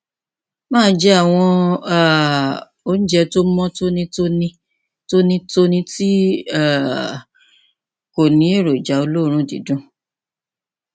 máa jẹ àwọn um oúnjẹ tó mọ tónítóní tónítóní tí um kò ní èròjà olóòórùn dídùn